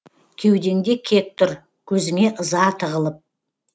кеудеңде кек тұр көзіңе ыза тығылып